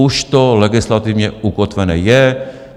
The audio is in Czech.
Už to legislativně ukotvené je.